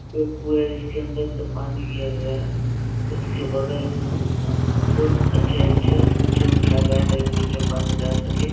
एक कुआँ है इसके अंदर से पानी गया हुआ है उसके बगल में बहुत अच्छे-अच्छे ऊँचे उठाए गया है ताकि बीच में पानी नही जा सके --